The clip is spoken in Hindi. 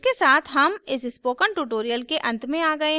इसके साथ हम इस स्पोकन ट्यूटोरियल के अंत में आ गए हैं